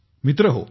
मित्रहो